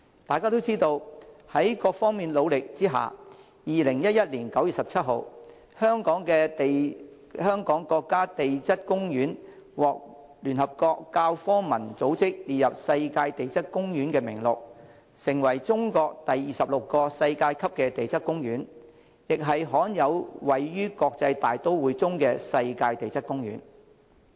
大家也知道，在各方努力下，在2011年9月17日，中國香港世界地質公園獲聯合國教科文組織列入世界地質公園名錄，成為中國第二十六個世界級地質公園，亦是罕有位於國際大都會中世界地質公園。